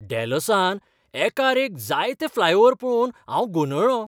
डॅलसांत एकार एक जायते फ्लायओव्हर पळोवन हांव गोंदळ्ळो.